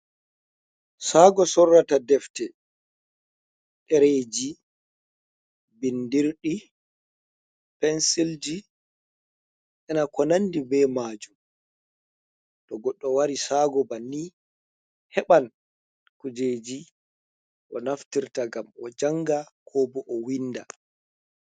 Saago sorrata defte, ɗareeji, bindirɗi, pensilji ina ko nandi be maajum. To goddo wari sago banni heɓan kujeji o naftirta ngam o janga ko bo o winda.